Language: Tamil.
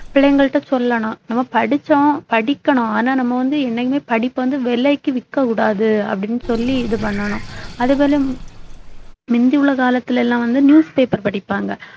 பிள்ளைங்ககிட்டே சொல்லணும் நம்ம படிச்சோம் படிக்கணும் ஆனா நம்ம வந்து என்னைக்குமே படிப்பை வந்து விலைக்கு விற்க கூடாது அப்படின்னு சொல்லி இது பண்ணணும் அதுபோல முந்தி உள்ள காலத்துல எல்லாம் வந்து newspaper படிப்பாங்க